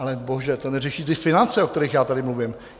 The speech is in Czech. Ale bože, to neřeší ty finance, o kterých já tady mluvím.